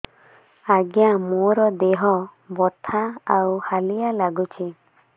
ଆଜ୍ଞା ମୋର ଦେହ ବଥା ଆଉ ହାଲିଆ ଲାଗୁଚି